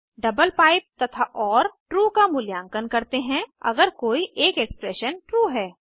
double pipe तथा ओर true का मूल्यांकन करते हैं अगर कोई एक एक्सप्रेशन ट्रू है